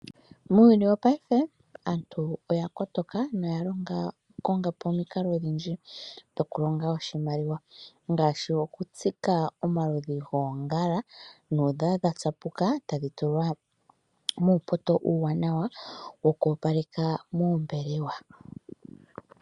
Muuyuni wopaife aantu oya kotoka, na oya konga po omikalo odhindji dhokulonga oshimaliwa ngaashi okutsika omaludhi goongala. Uuna dha tsapuka, ohadhi tulwa muupoto uuwanawa wo ku opaleka moombelewa.